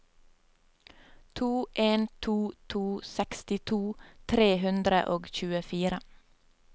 to en to to sekstito tre hundre og tjuefire